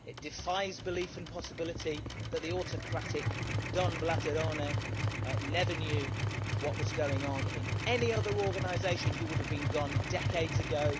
It defies belief and possibility that the autocratic Don Blatterone' never knew what was going on in any other organisation he would have been gone decades ago.